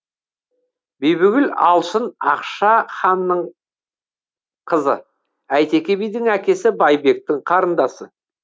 бибігүл алшын ақша ханның қызы әйтеке бидің әкесі байбектің қарындасы